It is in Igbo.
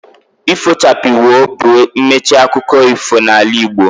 Ifo chapii, woo! bụ mmechi akụkọ ifo n'ala Igbo